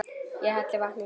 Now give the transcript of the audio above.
Ég helli vatni í glas.